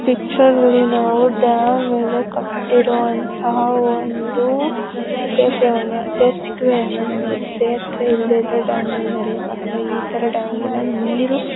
ಈ ಪಿಚ್ಚರ್ ಮೇಲೆ ಡ್ಯಾಮ್ ಮೇಲೆ ಕಟ್ಟಿರುವಂತಹ ಒಂದು ಸೇತುವೆ ಅನ್ನು ನೋಡ್ಬೋದು ಸೇತುವೆ ಇಲ್ಲದಿದ್ರೆ ಇತರ ಡ್ಯಾಂ ಮೇಲೆ ನಡಿಯೋಕ್ ಆಗಲ್ಲ ಈ ತರ ನೀರು --